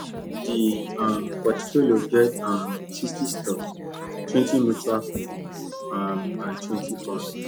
the um portfolio get um sixty stock twenty mutual fund um and twenty bond